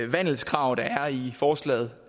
vandelskrav der er i forslaget